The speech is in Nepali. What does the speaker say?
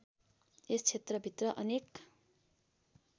यस क्षेत्रभित्र अनेक